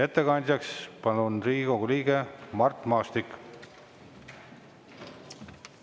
Ettekandjaks palun, Riigikogu liige Mart Maastik!